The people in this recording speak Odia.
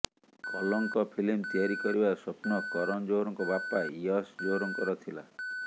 କଲଙ୍କ ଫିଲ୍ମ ତିଆରି କରିବାର ସ୍ୱପ୍ନ କରନ୍ ଜୋହରଙ୍କ ବାପା ୟଶ୍ ଜୋହରଙ୍କର ଥିଲା